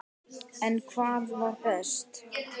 En hvað var best?